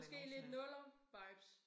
Måske lidt nullervibes